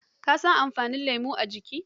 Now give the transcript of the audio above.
Ka san amfani lemo a jikin mutu